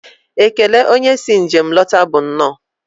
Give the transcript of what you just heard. Ekele onye si njem lọta bụ nnọọ.